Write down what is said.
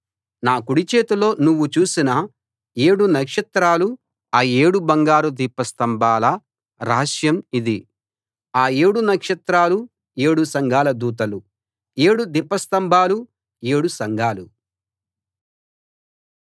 నా కుడి చేతిలో నువ్వు చూసిన ఏడు నక్షత్రాలు ఆ ఏడు బంగారు దీపస్తంభాల రహస్యం ఇది ఆ ఏడు నక్షత్రాలు ఏడు సంఘాల దూతలు ఏడు దీపస్తంభాలు ఏడు సంఘాలు